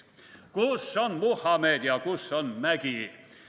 / Kus on Muhamed ja kus on mägi?